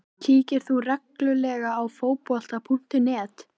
Hann hafði ákveðnar skoðanir á hlutunum, var glöggur og raungóður.